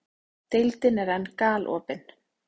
Deildin er enn galopin